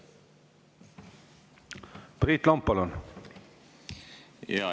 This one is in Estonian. Priit Lomp, palun!